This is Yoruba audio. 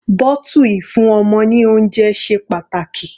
Bottle ìfún ọmọ ní oúnjẹ ṣe pàtàkì.